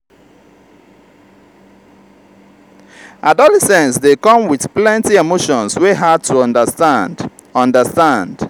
adolescence dey come with plenty emotions wey hard to understand. understand.